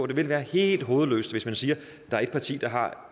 det vil være helt hovedløst hvis man siger at der er et parti der har